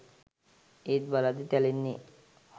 ඒත් බලද්දි තැලෙන්නෙ